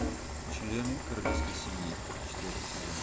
члены королевской семьи четвертый сезон